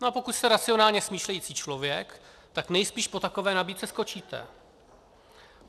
No a pokud jste racionálně smýšlející člověk, tak nejspíš po takové nabídce skočíte.